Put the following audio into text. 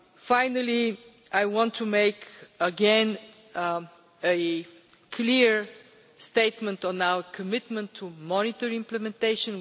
Finally, I want once again to make a clear statement on our commitment to monitor implementation.